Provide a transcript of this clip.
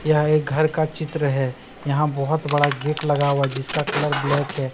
यह एक घर का चित्र है यहां बहुत बड़ा गेट लगा हुआ है जिसका कलर ब्लैक है।